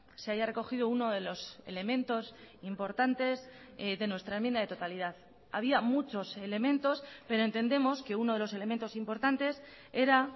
se haya recogido uno de los elementos importantes de nuestra enmienda de totalidad había muchos elementos pero entendemos que uno de los elementos importantes era